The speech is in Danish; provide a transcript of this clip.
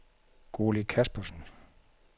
Gurli Kaspersen